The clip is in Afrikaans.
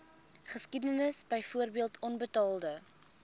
geskiedenis byvoorbeeld onbetaalde